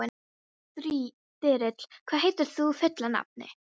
Þyrill, hvað heitir þú fullu nafni?